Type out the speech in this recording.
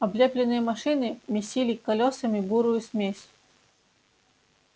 облепленные машины месили колёсами бурую смесь